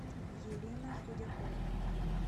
елена худякова